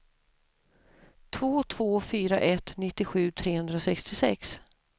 två två fyra ett nittiosju trehundrasextiosex